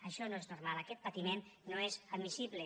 això no és normal aquest patiment no és admissible